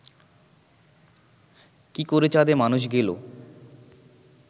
কি করে চাঁদে মানুষ গেল